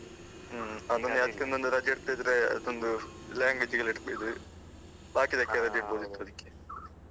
ಹ್ಮ್. ಅದನ್ನ ಅದ್ಕೊಂದೊಂದು ರಜೆ ಇರ್ತಿದ್ರೆ ಅದೊಂದು language ಎಲ್ಲ ಇಡ್ತಿದ್ರು. ಬಾಕಿದಕ್ಕೆ ರಜೆ ಇಡ್ಬಹುದಿತ್ತು ಅದಿಕ್ಕೆ.